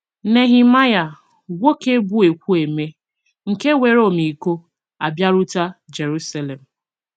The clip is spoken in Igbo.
Nehemaịa — nwoke bụ́ ekwu eme, nke nwere ọmịiko — abịarute Jeruselem